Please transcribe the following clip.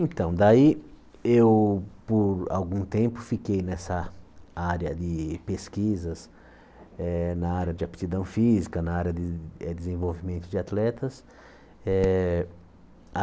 Então, daí eu por algum tempo fiquei nessa área de pesquisas, eh na área de aptidão física, na área de eh desenvolvimento de atletas eh.